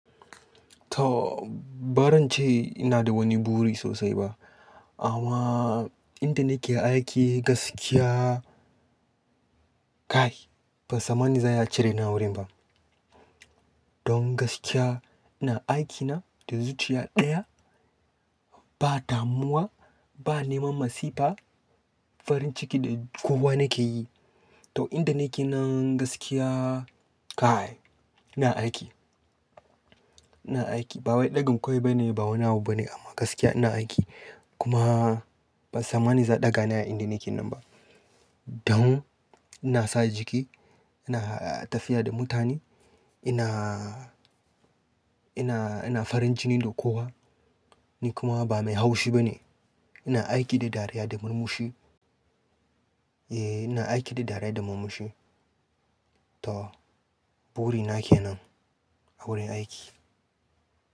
To, ba zan ce ina da wani buri sosai ba amma inda nake aiki gaskiya kai, ban samani za iya cire ni a wurin ba. Don gaskiya ina aikina da zuciya ɗaya, ba damuwa, ba neman masifa, farin ciki da kowa nake yi. To, inda nake nan gaskiya kai ina aiki, ina aiki. Ba wai ɗagan kai bane, ba wani abu bane amma gaskiya ina aiki. Kuma ban samani za ɗaga ni a inda nake nan ba. Don ina sa jiki, ina tafiya da mutane, ina, ina, ina farin jini da kowa. Ni kuma ba mai haushi bane. Ina aiki da dariya da murmushi. Eh, ina aiki da dariya da murmushi. To, buri na ke nan a wurin aiki.